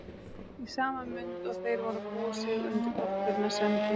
Í sama mund og þeir voru að búa sig undir brottförina sendi